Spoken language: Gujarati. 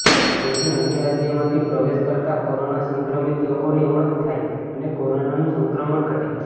જેથી અન્ય રાજ્યમાંથી પ્રવેશ કરતા કોરોના સંક્રમિત લોકોની ઓળખ થાય અને કોરોનાનું સંક્રમણ ઘટે